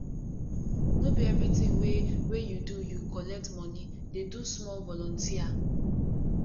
no be everytin wey wey you do you collect moni dey do small volunteer